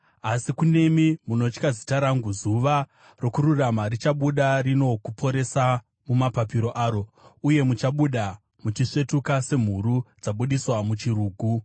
Asi kunemi munotya zita rangu, zuva rokururama richabuda rino kuporesa mumapapiro aro. Uye muchabuda muchisvetuka semhuru dzabudiswa muchirugu.